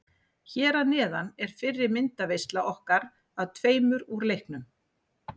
Hér að neðan er fyrri myndaveisla okkar af tveimur úr leiknum.